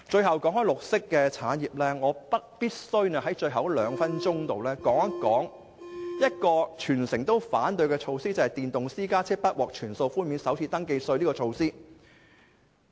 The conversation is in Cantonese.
談到綠色產業，我必須用最後的兩分鐘談談一項全城反對的措施，就是電動私家車不獲全數寬免首次登記稅。